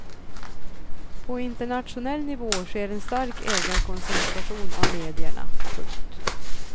På internationell nivå sker en stark ägarkoncenteration av medierna. punkt